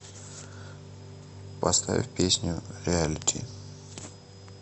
поставь песню реалити